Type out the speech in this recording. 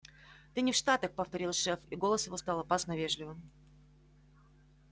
ты не в штатах повторил шеф и голос его стал опасно вежливым